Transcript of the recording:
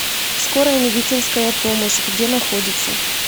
скорая медицинская помощь где находится